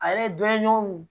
Ale ye dɔni ɲɔgɔn